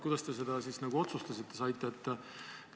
Kuidas te seda siis otsustada saite?